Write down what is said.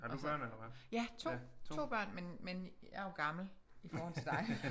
Altså ja 2 2 børn men men jeg er jo gammel i forhold til dig